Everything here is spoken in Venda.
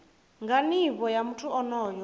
nga nivho ya muthu onoyo